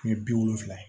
Kɛmɛ bi wolonwula